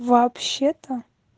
вообще-то